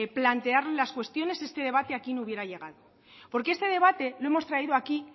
plantearles cuestiones este debate aquí no hubiera llegado porque este debate lo hemos traído aquí